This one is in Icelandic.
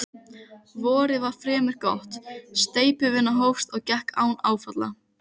Útí hafsauga leggst kólgubakki á sjóndeildarhringinn og veit á illviðri.